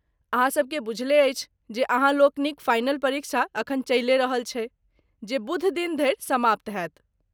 अहाँ सभके बुझले अछि जे अहाँ लोकनिक फाइनल परीक्षा अखन चलिये रहल छैक ,जे बुधदिन धरि समाप्त होयत।